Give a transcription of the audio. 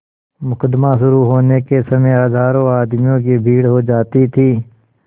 मुकदमा शुरु होने के समय हजारों आदमियों की भीड़ हो जाती थी